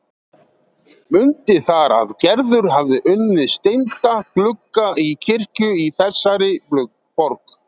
Mundi þar að Gerður hafði unnið steinda glugga í kirkju í þessari borg.